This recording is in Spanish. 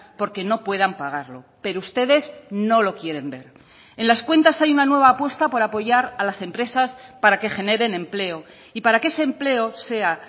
porque no puedan pagarlo pero ustedes no lo quieren ver en las cuentas hay una nueva apuesta por apoyar a las empresas para que generen empleo y para que ese empleo sea